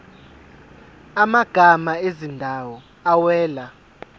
amagama ezindawo awela